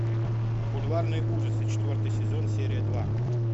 бульварные ужасы четвертый сезон серия два